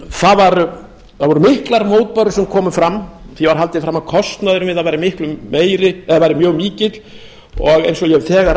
það voru miklar mótbárur sem komu fram því var haldið fram að kostnaðurinn við það væri miklu meiri eða væri mjög mikill og eins